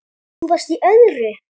Þú varst í öðru.